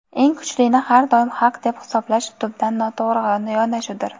eng kuchlini har doim haq deb hisoblash tubdan noto‘g‘ri yondashuvdir.